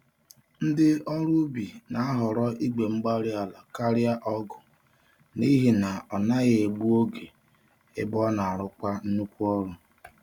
Ndị ọrụ ubi na-ahọrọ igwe-mgbárí-ala karịa ọgụ, n'ihi na ọ ọnaghị egbu oge, ebe ọnarụkwa nnukwu ọrụ